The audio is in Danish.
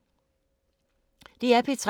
DR P3